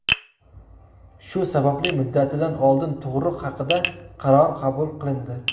Shu sababli muddatidan oldin tug‘ruq haqida qaror qabul qilindi.